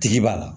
Tigi b'a la